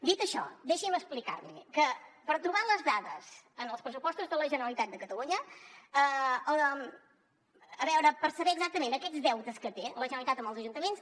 dit això deixi’m explicar li que per trobar les dades en els pressupostos de la generalitat de catalunya a veure per saber exactament aquests deutes que té la generalitat amb els ajuntaments